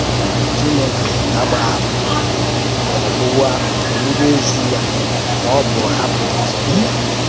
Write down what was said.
Chìnèkè ágbàhàpụ̀ghị ọ̀bụ̀bụ̀èzè ya, mà ọ̀ bụ́ hàpụ̀ nzúbè ya,